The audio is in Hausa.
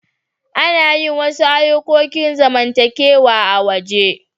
Ana yin wasu ayukokin zamantakewa a'waje.